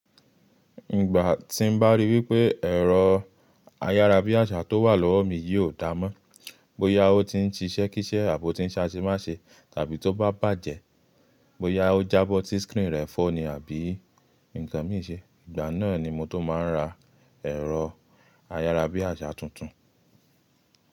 Ìgbà tí n bá ríi wípé ẹ̀rọ ayárabíàṣá tó wà lọ́wọ́ mi yìí ò dáa mọ́, bóyá ó ti ń ṣiṣẹ́ kíṣẹ́ àbí ó ti ń ṣe aṣe máṣe tàbí tó bá bàjẹ́, bóyá ó jábọ́ tí screen rẹ̀ fọ́ ni àbí ǹkan mí ì ṣe, ìgbà náà ni mo tó máa ń ra ẹ̀rọ ayárabíàṣá tuntun.